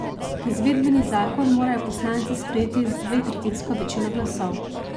Izvedbeni zakon morajo poslanci sprejeti z dvetretjinsko večino glasov.